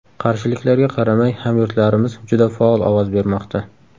Qarshiliklarga qaramay, hamyurtlarimiz juda faol ovoz bermoqda.